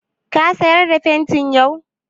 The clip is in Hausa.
Ka sayar da fenti yau?